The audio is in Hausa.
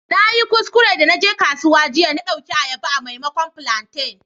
Na yi kuskure de na je kasuwa jiya, na dauki ayaba a'maimakon plantain.